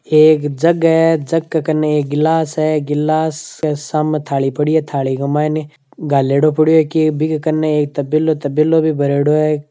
एक जग है जग के कने एक गिलास है गिलास के सामे थाली पड़ी है थाली के मायने गालेडो पड़यो है की बीके कने एक तबेलों तबेलों भी भरयोडो है।